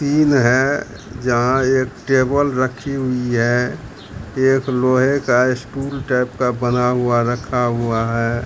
है जहाँ एक टेबल रखी हुई है एक लोहे का स्टूल टाइप का बना हुआ रखा हुआ है।